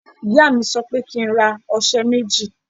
Ìyá mi sọ pé kí n ra ọṣẹ méjì.